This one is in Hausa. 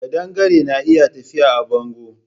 Ƙadangare na iya tafiya a bango